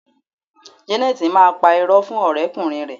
Jeneti máa pá irọ́ fún ọ̀rẹ́ kùnrin rẹ